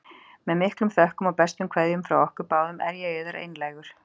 Með miklum þökkum og bestu kveðjum frá okkur báðum er ég yðar einlægur.